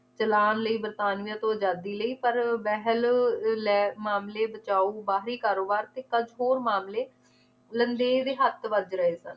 ਚਲਾਣ ਲਈ ਵਰਤਾਨੀਆ ਤੋਂ ਅਜਾਦੀ ਲਈ ਪਰ ਬਹਿਲ ਲੈ~ ਮਾਮਲੇ ਬਚਾਓ ਬਾਹਰੀ ਕਾਰੋਬਾਰ ਤੇ ਕਜ~ ਹੋਰ ਮਾਮਲੇ ਲੰਡੇ ਦੇ ਹੱਥ ਵੱਜ ਰਹੇ ਸਨ